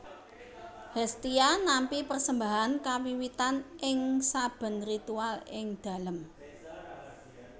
Hestia nampi persembahan kawiwitan ing sabén ritual ing dalém